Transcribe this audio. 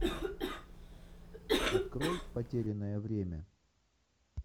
открой потерянное время